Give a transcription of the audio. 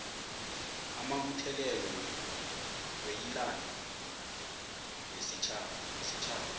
amabuthelelo weyilando wesitjhaba